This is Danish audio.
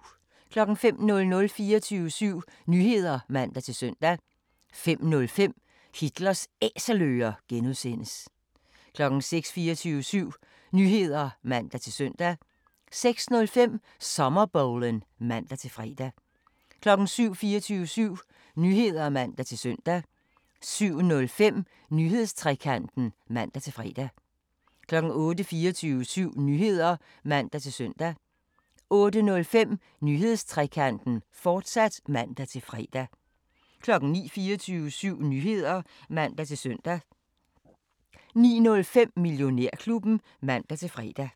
05:00: 24syv Nyheder (man-søn) 05:05: Hitlers Æselører (G) 06:00: 24syv Nyheder (man-søn) 06:05: Sommerbowlen (man-fre) 07:00: 24syv Nyheder (man-søn) 07:05: Nyhedstrekanten (man-fre) 08:00: 24syv Nyheder (man-søn) 08:05: Nyhedstrekanten, fortsat (man-fre) 09:00: 24syv Nyheder (man-søn) 09:05: Millionærklubben (man-fre)